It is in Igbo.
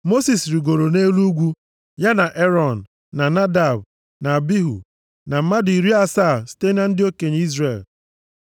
Mosis rigoro nʼelu ugwu, ya na Erọn, na Nadab na Abihu, na mmadụ iri asaa site na ndị okenye Izrel.